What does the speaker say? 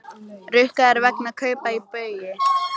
Rukkaðir vegna kaupa í Baugi